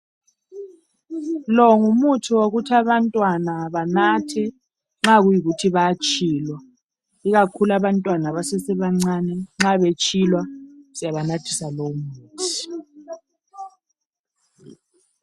Longumuthi wokuthi abantwana banathe nxa kuyikuthi bayatshilwa . Ikakhulu abantwana abasesebancane ,nxa betshilwa siyabanathisa lowumuthi.